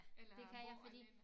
Eller bo alene